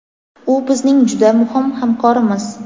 u bizning juda muhim hamkorimiz.